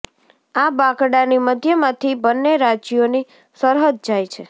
આ બાંકડાની મધ્યમાંથી બંને રાજ્યોની સરહદ જાય છે